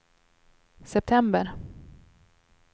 september